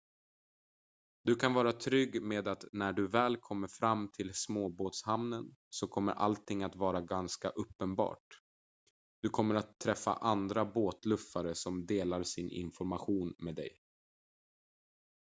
du kan vara trygg med att när du väl kommer fram till småbåtshamnen så kommer allting att vara ganska uppenbart du kommer att träffa andra båtluffare som delar sin information med dig